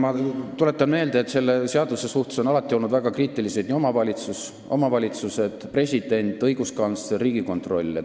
Ma tuletan meelde, et selle seaduse suhtes on alati olnud väga kriitilised omavalitsused, president, õiguskantsler ja Riigikontroll.